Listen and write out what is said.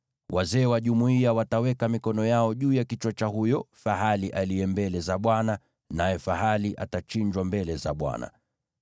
Wazee wa jumuiya wataweka mikono yao juu ya kichwa cha huyo fahali aliye mbele za Bwana , naye fahali atachinjwa mbele za Bwana .